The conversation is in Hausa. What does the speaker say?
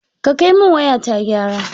Ka kai min waya ta gyara.